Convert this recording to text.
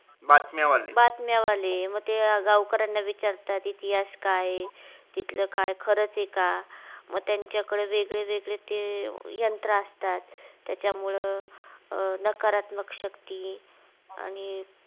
बातम्यावाले म त्या गावकर्यांना विचारतात इतिहास काय हे तिथलं खरच आहे का म त्यांचा कडे वेगळे वेगळे ते यंत्र असतात त्याचा मूळ नकारात्मक शक्ती आणि